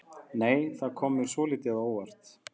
Nei! Það kom mér svolítið á óvart!